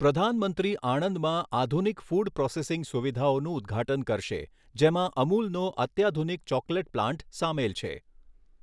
પ્રધાનમંત્રી આણંદમાં આધુનિક ફૂડ પ્રોસેસિંગ સુવિધાઓનું ઉદ્ઘાટન કરશે, જેમાં અમૂલનો અત્યાધુનિક ચોકલેટ પ્લાન્ટ સામેલ છે.